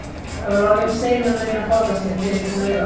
Það var orðið um seinan að reyna að forða sér, þegar ég kom auga á